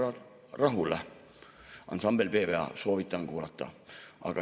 " Ansambel P.W.A., soovitan kuulata.